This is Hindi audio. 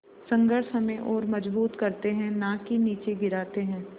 संघर्ष हमें और मजबूत करते हैं नाकि निचे गिराते हैं